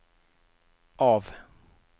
av